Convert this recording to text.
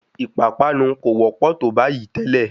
Ìpápánu kò wọ́pọ̀ tó bayìí tẹ́lẹ̀.